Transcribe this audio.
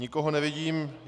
Nikoho nevidím.